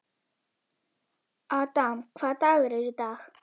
Adam, hvaða dagur er í dag?